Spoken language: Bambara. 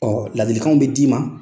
Ɔ ladilikan min bɛ d'i ma.